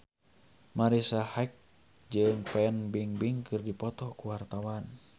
Marisa Haque jeung Fan Bingbing keur dipoto ku wartawan